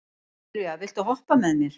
Sylvía, viltu hoppa með mér?